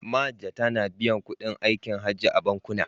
Mahajjata na biyan kuɗin aikin Hajji a bankuna.